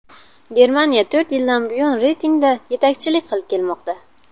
Germaniya to‘rt yildan buyon reytingda yetakchilik qilib kelmoqda.